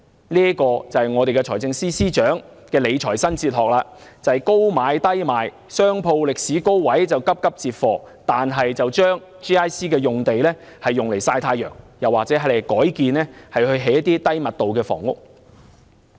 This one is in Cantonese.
這就是財政司司長的理財新哲學：高買低賣，商鋪歷史高位就急急接貨 ，GIC 用地卻用來曬太陽或改建為低密度房屋。